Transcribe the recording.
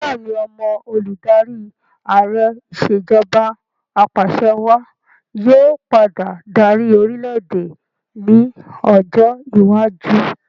Bẹẹni, ọmọ olùdarí Ààrẹ ìsèjọba apàṣẹwà yí ọ padà dárí orìlẹ̀-èdè ni ọjọ́ iwájú